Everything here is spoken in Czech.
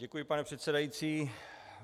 Děkuji, pane předsedající.